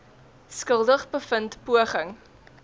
skuldig bevind poging